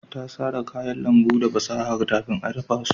Ta sara kayan lambu da fasaha kafin ta dafa su